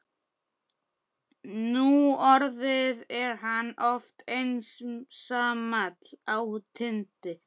Núorðið er hann oft einsamall á tindi